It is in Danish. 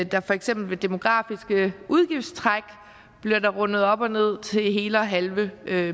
der for eksempel ved demografiske udgiftstræk bliver rundet op og ned til hele og halve